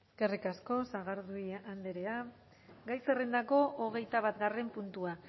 eskerrik asko sagardui andrea gai zerrendako hogeita batgarren puntua